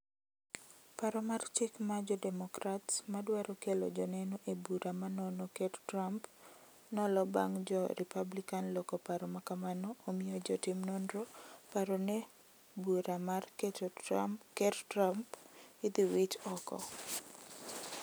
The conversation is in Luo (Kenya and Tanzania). Paro mar chik mar jodemokrats mardwaro kelo joneno ebura manono ker trump nolo bang jo republican loko paro makamano omiyo jotim nonro paro ne bura mar ker trump idhi wit oko.